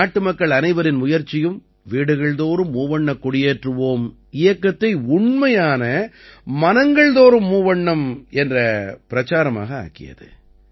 நாட்டு மக்கள் அனைவரின் முயற்சியும் வீடுகள் தோறும் மூவண்ணக் கொடியேற்றுவோம் இயக்கத்தை உண்மையான மனங்கள் தோறும் மூவண்ணம் என்ற பிரச்சாரமாக ஆக்கியது